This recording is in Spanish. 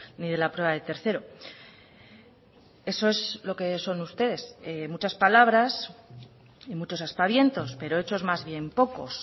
ni de la prueba de tercero eso es lo que son ustedes muchas palabras y muchos aspavientos pero hechos más bien pocos